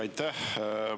Aitäh!